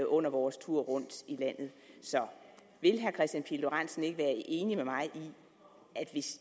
under vores tur rundt i landet så vil herre kristian pihl lorentzen ikke være enig med mig